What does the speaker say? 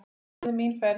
Löng er orðin mín ferð.